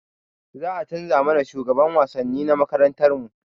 Za a canza mana shugaban wasanni na makarantarmu